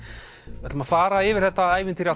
við ætlum að fara yfir þetta ævintýri